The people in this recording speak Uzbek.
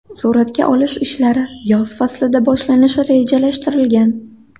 Suratga olish ishlari yoz faslida boshlanishi rejalashtirilgan.